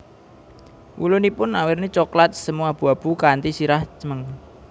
Wulunipun awerni coklat semu abu abu kanthi sirah cemeng